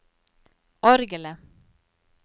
orgelet